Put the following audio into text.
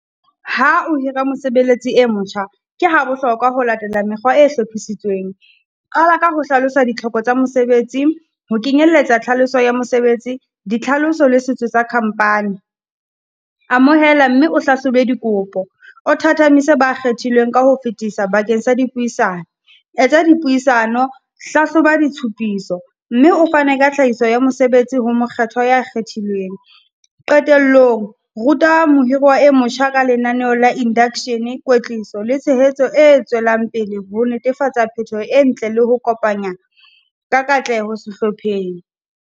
Ha o hira mosebeletsi e motjha, ke ha bohlokwa ho latela mekgwa e hlophisitsweng. Qala ka ho hlalosa ditlhoko tsa mesebetsi ho kenyelletsa tlhaloso ya mosebetsi, ditlhaloso le setso sa company. Amohela mme o hlahlobe dikopo, o thathamise ba kgethilweng ka ho fetisa bakeng sa dipuisano. Etsa dipuisano, hlahloba ditshupiso, mme o fane ka tlhahiso ya mosebetsi ho mokgethwa ya kgethilweng. Qetellong ruta mohirwa e motjha ka lenaneo la induction-e, kwetliso le tshehetso e tswelang pele ho netefatsa phetoho e ntle le ho kopanya ka katleho sehlopheng.